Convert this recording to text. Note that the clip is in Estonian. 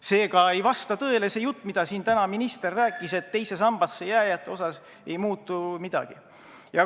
Seega ei vasta tõele see jutt, mida siin täna minister rääkis, et teise sambasse jääjate puhul ei muutu midagi.